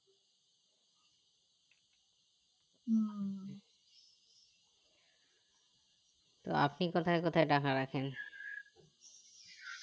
তো আপনি কোথায় কোথায় টাকা রাখেন